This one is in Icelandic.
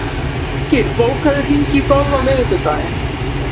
Birkir, bókaðu hring í golf á miðvikudaginn.